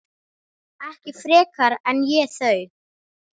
Ekki frekar en ég þau.